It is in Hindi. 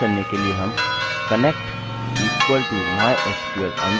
करने के लिए हम connect equal to mysql_connect नामक वेरिएबल बनाते हैं